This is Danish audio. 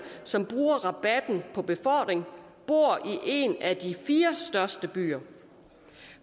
som bruger rabatten på befordring bor i en af de fire største byer